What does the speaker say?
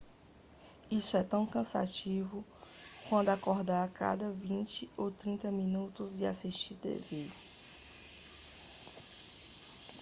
isso é tão cansativo quanto acordar a cada vinte ou trinta minutos e assistir tv